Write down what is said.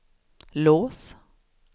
lås